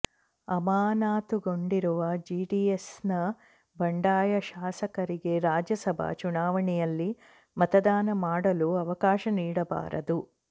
ಅಮಾನತುಗೊಂಡಿರುವ ಜೆಡಿಎಸ್ನ ಬಂಡಾಯ ಶಾಸಕರಿಗೆ ರಾಜ್ಯಸಭಾ ಚುನಾವಣೆಯಲ್ಲಿ ಮತದಾನ ಮಾಡಲು ಅವಕಾಶ ನೀಡಬಾರದು